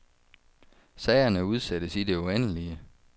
Sagerne udsættes i det uendelige.